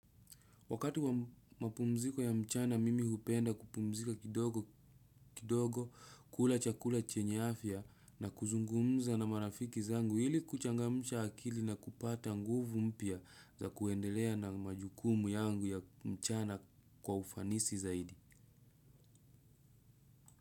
Wakati wa mapumziko ya mchana mimi hupenda kupumzika kidogo kula chakula chenye afya na kuzungumza na marafiki zangu ili kuchangamsha akili na kupata nguvu mpya za kuendelea na majukumu yangu ya mchana kwa ufanisi zaidi.